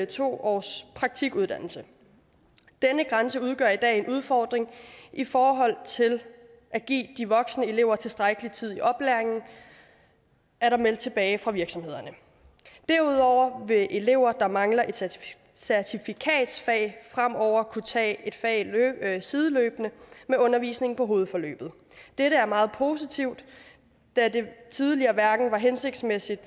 to års praktikuddannelse denne grænse udgør i dag en udfordring i forhold til at give de voksne elever tilstrækkelig tid i oplæringen er der meldt tilbage fra virksomhederne derudover vil elever der mangler et certifikatfag fremover kunne tage et fag sideløbende med undervisningen på hovedforløbet dette er meget positivt da den tidligere ordning hverken var hensigtsmæssig